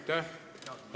Aitäh!